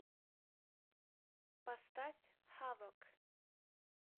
поставь хавок